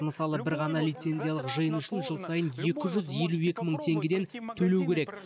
мысалы бір ғана лицензиялық жиын үшін жыл сайын екі жүз елу екі мың теңгеден төлеу керек